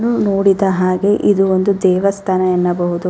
ನಾನು ನೋಡಿದ ಹಾಗೆ ಇದು ಒಂದು ದೇವಸ್ತಾನ ಎನ್ನಬಹುದು .